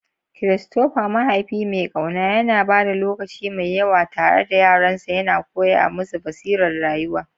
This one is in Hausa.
Christopher, mahaifi mai ƙauna, yana ba da lokaci mai yawa tare da yaransa, yana koya musu basirar rayuwa.